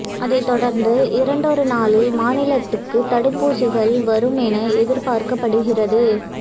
அதைத் தொடா்ந்து இரண்டொரு நாளில் மாநிலத்துக்குத் தடுப்பூசிகள் வரும் என எதிா்பாா்க்கப்படுகிறது